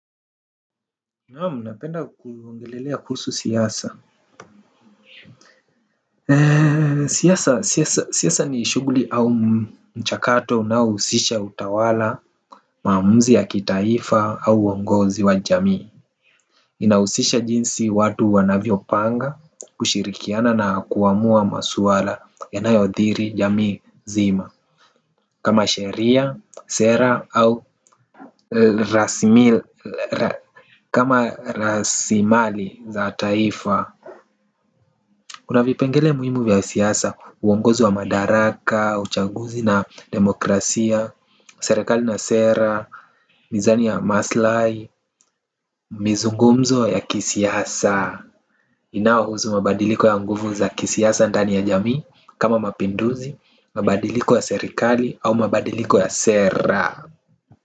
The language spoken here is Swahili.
Naam napenda kuongelelea kuhusu siasa. Siasa ni shughuli au mchakato na husisha utawala maamuzi ya kitaifa au uongozi wa jamii. Inahusisha jinsi watu wanavyo panga kushirikiana na kuamua maswala yanayo dhiri jamii zima. Kama sheria sera au rasmi kama rasimali za taifa kuna vipengele muhimu vya siasa, uongozi wa madaraka, uchaguzi na demokrasia, serikali na sera, mizani ya maslai, mizungumzo ya kisiasa. Inao husu mabadiliko ya nguvu za kisiasa ndani ya jamii, kama mapinduzi, mabadiliko ya serikali, au mabadiliko ya sera.